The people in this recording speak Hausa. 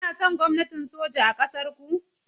Kuna son gwamnatin soja a ƙasar ku?